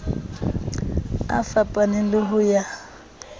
a fapaneng le ho ya